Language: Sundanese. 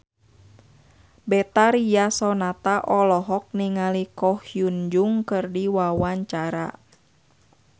Betharia Sonata olohok ningali Ko Hyun Jung keur diwawancara